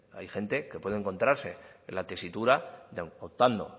hay gente que puede encontrarse en la tesitura de aun contando